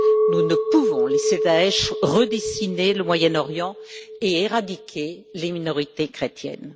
Nous ne pouvons laisser Daech redessiner le Moyen Orient et éradiquer les minorités chrétiennes.